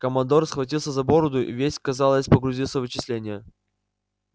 командор схватился за бороду и весь казалось погрузился в вычисления